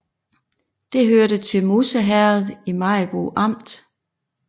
Det hørte til Musse Herred i Maribo Amt